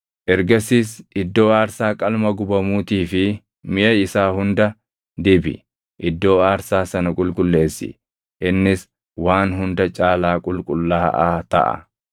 Ergasiis iddoo aarsaa qalma gubamuutii fi miʼa isaa hunda dibi; iddoo aarsaa sana qulqulleessi; innis waan hunda caalaa qulqullaaʼaa taʼa.